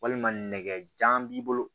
Walima nɛgɛjan b'i bolo